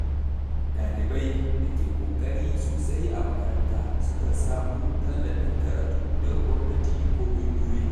Dalibai da ke ƙoƙari sosai a makaranta sukan samu tallafin karatu daga gwamnati ko ƙungiyoyi.